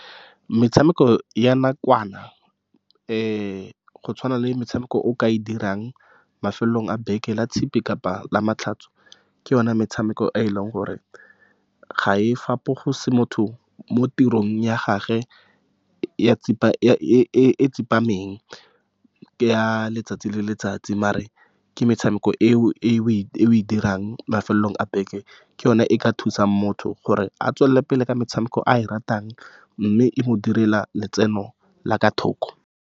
Metshameko ya nakwana, , go tshwana le metshameko o ka e dirang mafelong a beke la tshipi kapa lamatlhotso. Ke yone metshameko e e leng gore ga e fapose motho mo tirong ya gagwe ya e tsepameng ya letsatsi le letsatsi. Mare ke metshameko e o e dirang mafelong a beke, ke yona e ka thusang motho gore a tswelele pele ka metshameko e a e ratang, mme e mo direla letseno la kwa thoko.